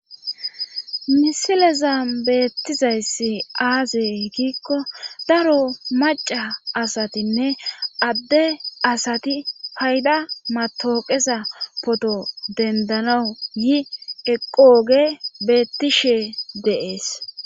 Misileza beettizayssi aaze giikko daro maca asatinne adde asati payda matooqeza poto dendanawu yi eqooge bettishe de7es.